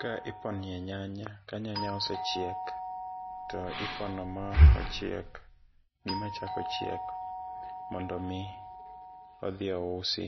Ka iponie nyanya, ka nyanya osechiek to ipono ma ochiek gima chako chiek mondo mi odhi ousi,